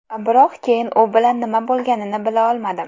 Biroq keyin u bilan nima bo‘lganini bila olmadim.